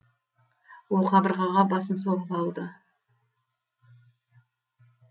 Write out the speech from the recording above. ол қабырғаға басын соғып алды